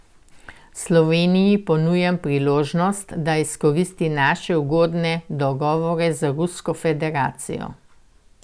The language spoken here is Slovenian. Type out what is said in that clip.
Sloveniji ponujam priložnost, da izkoristi naše ugodne dogovore z Rusko federacijo.